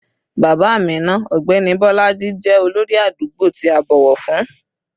Bàbá Amina, ọ̀gbẹ́ni Bolaji, jẹ́ olórí àdúgbò tí a bọ̀wọ̀ fún